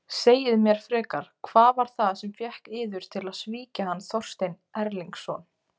Segið mér frekar: Hvað var það sem fékk yður til að svíkja hann Þorstein Erlingsson?